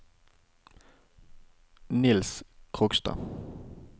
Niels Krogstad